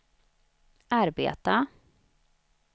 arbeta